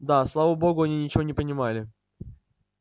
да слава богу они ничего не понимали